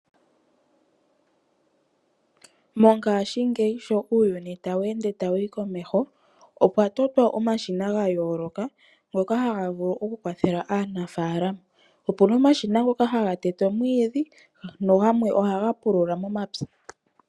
Mongashingeyi sho uuyuni tawu ende tawuyi komeho, okwatotwa omashina gayooloka ngoka haga vulu okukwathela aanafaalama. Opuna omashina ngoka haga tete omwiidhi nagamwe ohaga pulula momapya.